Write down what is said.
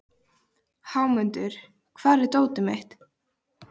Hámundur, hvar er dótið mitt?